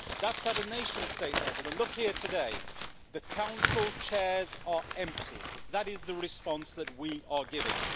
That is at a nation state level and look here today the Council chairs are empty, that is the response that we are giving.